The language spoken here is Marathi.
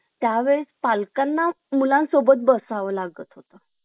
त्या वेळेस पालकांना मुलांसोबत बसावं लागत होता